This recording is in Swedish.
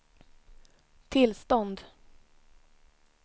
tillstånd